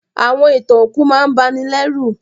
Àwọn ìtàn òkú máà n banilérù